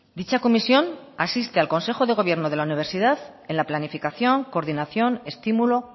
dicha comisión asiste al consejo de gobierno de la universidad en la planificación coordinación estímulo